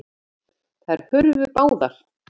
Þær hurfu báðar.